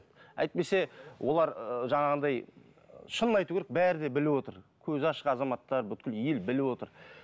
әйтпесе олар жаңағынай шынын айту керек бәрі де біліп отыр көзі ашық азаматтар ел біліп отыр